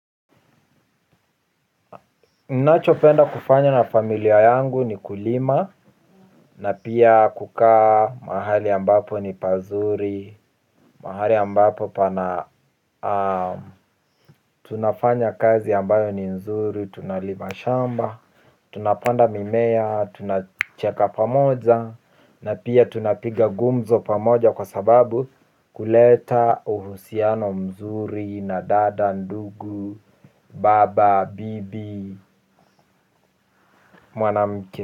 Ninachopenda kufanya na familia yangu ni kulima na pia kukaa mahali ambapo ni pazuri. Mahali ambapo pana tunafanya kazi ambayo ni nzuri tunalima shamba. Tunapanda mimea tunacheka pamoja na pia tunapiga gumzo pamoja kwa sababu kuleta uhusiano mzuri na dada ndugu baba bibi mwanamke.